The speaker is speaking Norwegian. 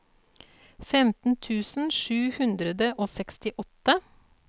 femten tusen sju hundre og sekstiåtte